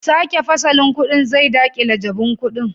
Sake fasalin kudin zai dakile jabun kudin